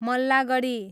Mallagadhi